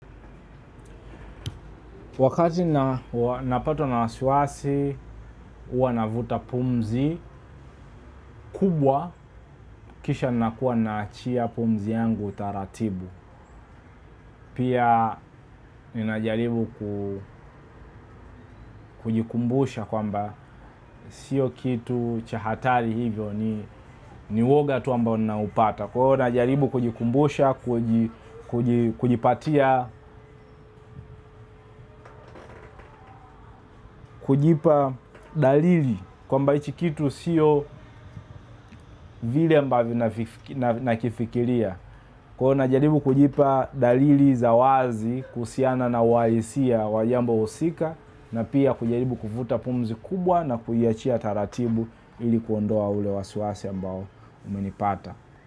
Wakati na napatwa na wasiwasi, huwa navuta pumzi, kubwa kisha nakuwa naachia pumzi yangu taratibu. Pia ninajaribu kujikumbusha kwamba sio kitu cha hatari hivyo ni uwoga tu ambao ninaupata. Kuwa ninajaribu kujikumbusha, kujipatia, kujipa dalili kwamba hicho kitu sio vile ambavyo nakifikiria. Kona jaribu kujipa dalili za wazi kuhusiana na walisia wa jambo husika na pia kujaribu kuvuta pumzi kubwa na kuyachia taratibu ili kuondoa ule wasiwasi ambao umenipata.